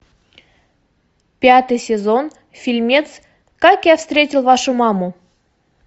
пятый сезон фильмец как я встретил вашу маму